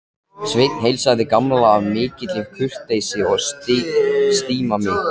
Sveinn heilsaði Gamla af mikilli kurteisi og stimamýkt.